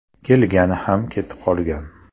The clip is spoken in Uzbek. Kelgani ham ketib qolgan.